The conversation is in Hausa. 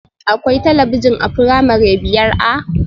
Akwai talabijin a firamare biyar A?